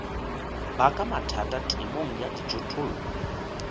baka mathata temong ya dijothollo